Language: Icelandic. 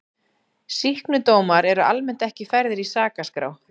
Sýknudómar eru almennt ekki færðir í sakaskrá.